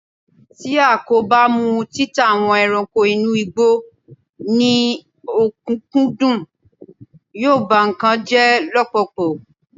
ti a ko ba mu títà àwọn ẹranko inú igbó ni okunkundun, yíò ba nkan jẹ lọpọlọpọ